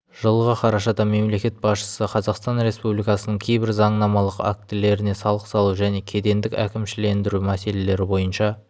жылғы қарашада мемлекет басшысы қазақстан республикасының кейбір заңнамалық актілеріне салық салу және кедендік әкімшілендіру мәселелері бойынша